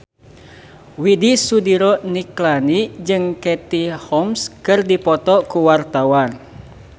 Widy Soediro Nichlany jeung Katie Holmes keur dipoto ku wartawan